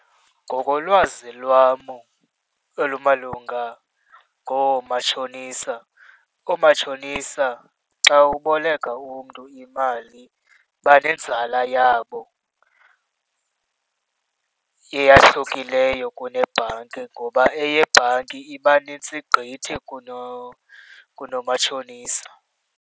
Ngokolwazi lwam olumalunga ngoomatshonisa, oomatshonisa xa uboleka umntu imali banenzala yabo eyahlukileyo kunebhanki, ngoba eyebhanki iba nintsi gqithi kunomatshonisa.